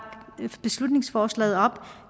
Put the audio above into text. beslutningsforslaget op